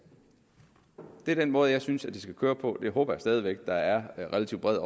det er den måde jeg synes det skal køre på og det håber jeg stadig væk at der er relativt bred